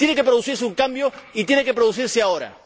Tiene que producirse un cambio y tiene que producirse ahora.